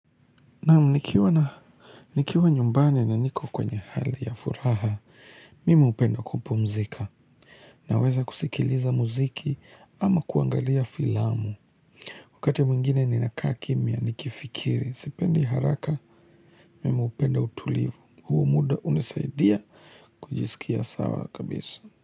Nam nikiwa nyumbani na niko kwenye hali ya furaha, mimi hupenda kupumzika. Naweza kusikiliza muziki ama kuangalia filamu. Wakati mwingine ni nakaa kimya, nikifikiri, sipendi haraka, mimi hupenda utulivu. Huu muda hunisaidia kujisikia sawa kabisa.